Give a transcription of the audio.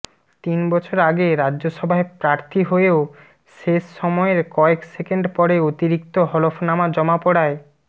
তিন বছর আগে রাজ্যসভায় প্রার্থী হয়েও শেষ সময়ের কয়েক সেকেন্ড পরে অতিরিক্ত হলফনামা জমা পড়ায়